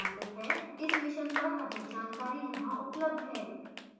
इस mission पर अधिक जानकारी यहां उपलब्ध है: